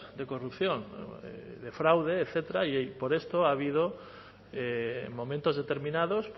de corrupción de fraude etcétera y por esto ha habido momentos determinados